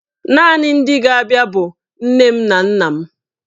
Naanị ndị ga-abịa bụ nne m na nna m.